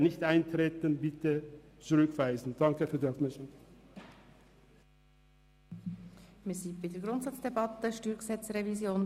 Ich bitte Sie, nicht einzutreten und das Geschäft zurückzuweisen.